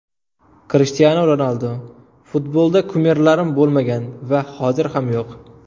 Krishtianu Ronaldu: Futbolda kumirlarim bo‘lmagan va hozir ham yo‘q.